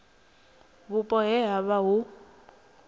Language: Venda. vhupo he ha vha hu